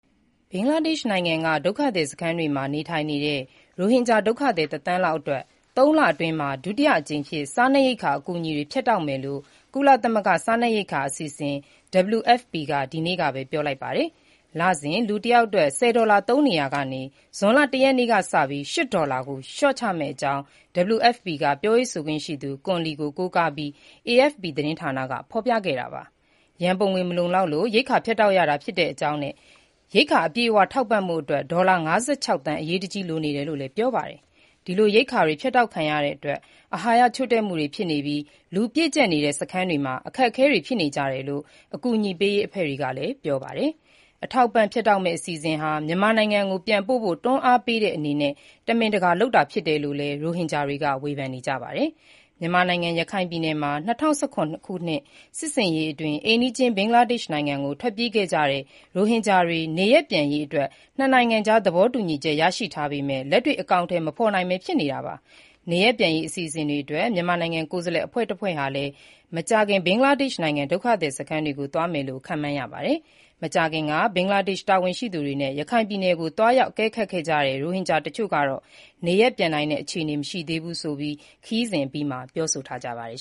ဘင်္ဂလားဒေ့ရှ်နိုင်ငံက ဒုက္ခသည်စခန်းတွေမှာ နေထိုင်နေတဲ့ ရိုဟင်ဂျာဒုက္ခသည် ၁ သန်းလောက်အတွက် ၃ လအတွင်း ဒုတိယအကြိမ်အဖြစ် စားနပ်ရိက္ခာ အကူညီတွေ ဖြတ်တောက်မယ်လို့ ကုလသမဂ္ဂ စားနပ်ရိက္ခာအစီအစဉ် WFP က ဒီကနေ့ပဲ ပြောလိုက်ပါတယ်။ လစဉ် လူ ၁ ယောက်အတွက် ၁၀ ဒေါ်လာ သုံးနေရာကနေ ဇွန်လ ၁ ရက်ကစပြီး ၈ ဒေါ်လာ လျှော့ချမယ့်အကြောင်း WFP ပြောရေးဆိုခွင့်ရှိသူ Kun Li (ကွန်လီ) ကို ကိုးကားပြီး AFP သတင်းက ဖော်ပြခဲ့တာပါ။ ရန်ပုံငွေမလောက်လို့ ရိက္ခာ ဖြတ်တောက်ရတာဖြစ်ကြောင်းနဲ့ ၁၂ ဒေါ်လ) အပြည့်အ၀ ထောက်ပံ့ဖို့ ဒေါ်လာ ၅၆ သန်း အရေးတကြီး လိုနေတယ်လို့လည်း ပြောပါတယ်။ ဒီလိုရိက္ခာတွေ ဖြတ်တောက်ခံရတဲ့အတွက် အာဟာရချို့တဲ့မှု တွေဖြစ်နေပြီး လူပြည့်ကျပ်နေတဲ့ စခန်းတွေမှာ အခက်အခဲတွေဖြစ်နေကြတယ်လို့ အကူအညီပေးရေးအဖွဲ့တွေက ပြောပါတယ်။ အထောက်အပံ့ ဖြတ်တောက်မယ့် အစီအစဉ်ဟာ မြန်မာနိုင်ငံကို ပြန်ပို့ဖို့ တွန်းအားပေးတဲ့အနေနဲ့ တမင်လုပ်တာလို့လည်း ရိုဟင်ဂျာတွေက ဝေဖန်နေကြပါတယ်။ မြန်မာနိုင်ငံ ရခိုင်ပြည်နယ်မှာ ၂၀၁၇ ခုနှစ်က စစ်ဆင်ရေးအတွင်း အိမ်နီးချင်း ဘင်္ဂလားဒေ့ရှ် နိုင်ငံကို ထွက်ပြေးခဲ့ကြတဲ့ ရိုဟင်ဂျာတွေ နေရပ်ပြန်ရေး ၂ နိုင်ငံကြား သဘောတူညီချက် ရရှိထားပေမဲ့ လက်တွေ့အကောင်အထည် မဖော်နိုင်ပဲ ဖြစ်နေတာပါ။ နေရပ်ပြန်ရေး အစီအစဉ်အတွက် မြန်မာကိုယ်စားလှယ် အဖွဲ့တဖွဲ့ဟာလည်း မကြာခင် ဘင်္ဂလားဒေ့ရှ် ဒုက္ခသည်စခန်းတွေကို သွားမယ်လို့ ခန့်မှန်းရပါတယ်။ မကြာသေးခင်က ဘင်္ဂလားဒေ့ရှ် တာဝန်ရှိသူတွေနဲ့ ရခိုင်ပြည်နယ်ကို သွားရောက် အကဲခတ်ခဲ့ကြတဲ့ ရိုဟင်ဂျာ တချို့ကတော့ နေရပ်ပြန်နိုင်တဲ့ အခြေအနေ မရှိသေးဘူးဆိုပြီး ခရီးစဉ်အပြီးမှာပဲ ပြောဆိုထားကြပါတယ်